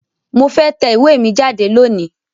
Mo fe tẹ iwe mi jade loni